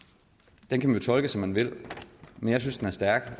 den kan man jo tolke som man vil men jeg synes den er stærk